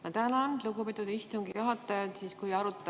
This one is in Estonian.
Ma tänan, lugupeetud istungi juhataja!